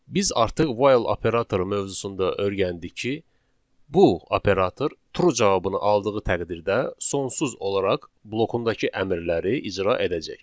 Biz artıq 'while' operatoru mövzusunda öyrəndik ki, bu operator 'true' cavabını aldığı təqdirdə sonsuz olaraq blokundakı əmrləri icra edəcək.